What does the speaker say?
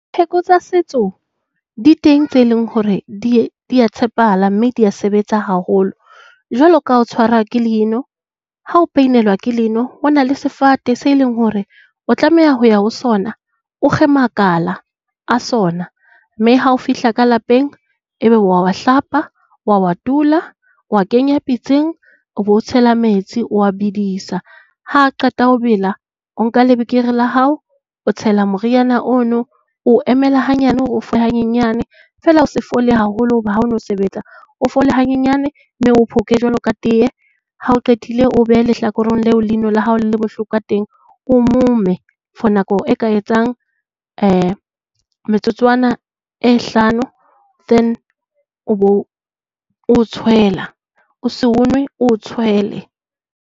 Pheko tsa setso di teng tseo e leng hore di a tshepahala mme di a sebetsa haholo. Jwalo ka ho tshwara ke leino. Ha o pain-elwa ke leino, ho na le sefate se leng hore o tlameha ho ya ho sona. O kge makala a sona mme ha o fihla ka lapeng e be o a hlapa. O a a tula. O a kenya pitseng, o be o tshela metsi o a bedisa. Ha a qeta ho bela o nka lebekere la hao, o tshela moriana o no. O emela hanyane hore o fole hanyenyane feela o se fole haholo ho ba ha o no sebetsa. O fole hanyenyane, mme o o phoke jwalo ka tee. Ha o qetile o o behe lehlakoreng leo leino la hao le leng bohloko ka teng. O o mome for nako e ka etsang metsotswana e hlano. Then o bo o tshwela. O se o nwe, o o tshwele.